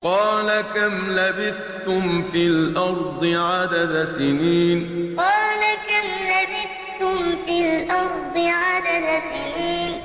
قَالَ كَمْ لَبِثْتُمْ فِي الْأَرْضِ عَدَدَ سِنِينَ قَالَ كَمْ لَبِثْتُمْ فِي الْأَرْضِ عَدَدَ سِنِينَ